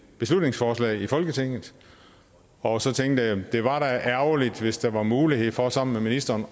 beslutningsforslag i folketinget og så tænkte jeg det var da ærgerligt hvis der var mulighed for sammen med ministeren